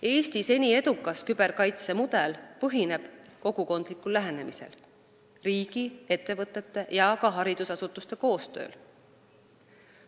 Eesti seni edukas küberkaitse mudel põhineb kogukondlikul lähenemisel, riigi, ettevõtete ja ka haridusasutuste koostööl.